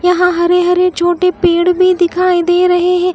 यहां हरे हरे छोटे पड़े भी दिखाई दे रहे है।